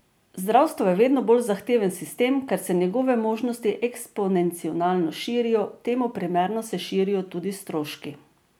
Zdravstvo je vedno bolj zahteven sistem, ker se njegove možnosti eksponencialno širijo, temu primerno se širijo tudi stroški.